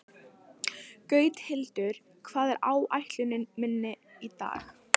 Gauthildur, hvað er á áætluninni minni í dag?